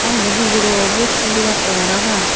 aa yen dw huguror vecsin dibattey parapang.